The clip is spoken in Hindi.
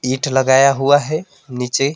ईट लगाया हुआ है नीचे--